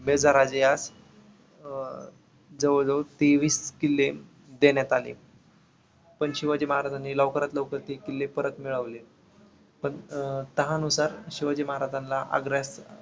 बेधाराजे यास अं जवळ जवळ तेवीस किल्ले देण्यात आले. पण शिवाजी महाराजांनी लवकरात लवकर ते किल्ले परत मिळविले. पण अं तहा नुसार शिवाजी महाराजांना आग्रास